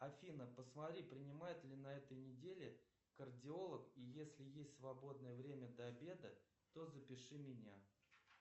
афина посмотри принимает ли на этой неделе кардиолог и если есть свободное время до обеда то запиши меня